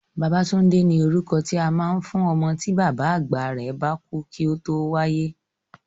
Babátúndé ni orúkọ tí a máa ń fún ọmọ tí bàbá àgbà rẹ̀ bá kú kí ó tó wáyé